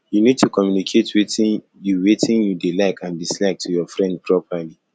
you need to communicate wetin you wetin you dey like and dislike to your friend properly